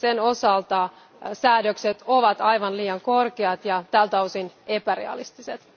Sen osalta säädökset ovat aivan liian korkeat ja tältä osin epärealistiset.